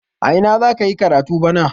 A ina za ka yi karatu bana?